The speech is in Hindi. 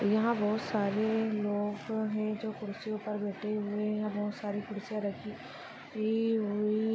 यहाँ बहुत सारे लोग है जो कुर्सीयों पर बैठे हुए है यहाँ बहुत सारी कुर्सिया रखी ई हुई--